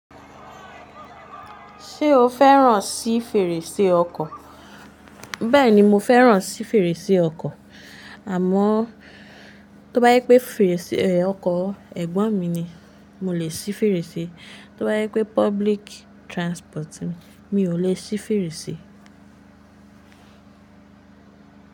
Ṣé o fẹ́ràn sí fèrèsé ọkọ̀? Bẹ́ẹ̀ni, mo fẹ́ràn sí fèrèsé ọkọ̀, àmọ́ tó bá jẹ pé fèrèsé ọkọ̀ ẹ̀gbọ́n mi ni, mo lè sí fèrèsé. Tó bá jẹ pé public transport ni, mi ò lè sí fèrèsé.